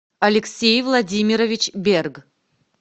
алексей владимирович берг